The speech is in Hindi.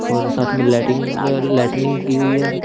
और साथ में लाइटिंग लाइटनिंग की हुई है।